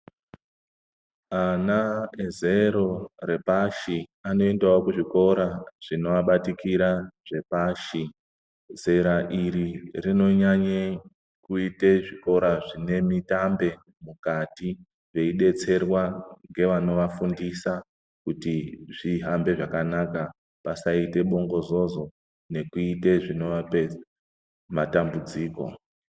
Ana ezero repashi anoendawo kuzvikora zvinoabatikira zvepashi. Zera iri rinonyanye kuite zvikora zvine mitambe mukati veidetserwa ngevanovafundisa kuti zvihambe zvakanaka pasaite bongozozo nekuite zvinovape matambudziko.